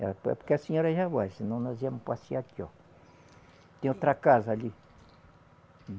É porque a senhora já vai, senão nós íamos passear aqui, ó. Tem outra casa ali.